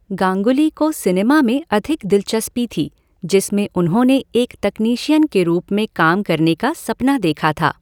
गांगुली को सिनेमा में अधिक दिलचस्पी थी, जिसमें उन्होंने एक तकनीशियन के रूप में काम करने का सपना देखा था।